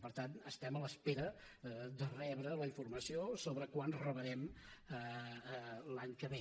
per tant estem a l’espera de rebre la informació sobre quant rebrem l’any que ve